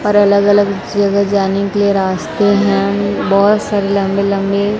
अरे अलग अलग जगह जाने के लिए रास्ते हैं बहुत सारे लंबे लंबे--